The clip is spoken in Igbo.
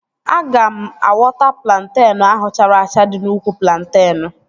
Aga m awọta plantenu ahụ chara acha dị n'úkwù plantenu